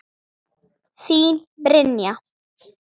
Þín, Brynja.